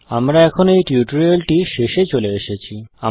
আমরা এখন এই টিউটোরিয়ালটির শেষে চলে এসেছি